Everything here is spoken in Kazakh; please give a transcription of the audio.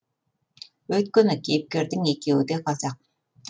өйткені кейіпкердің екеуі де қазақ